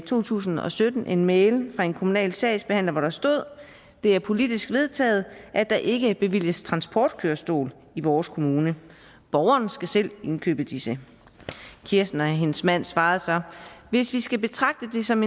to tusind og sytten en mail fra en kommunal sagsbehandler hvor der stod det er politisk vedtaget at der ikke bevilges transportkørestol i vores kommune borgerne skal selv indkøbe disse kirsten og hendes mand svarede så hvis vi skal betragte det som